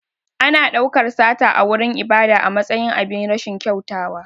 Ana ɗaukar sata a wurin ibada a matsayin abin rashin kyautawa.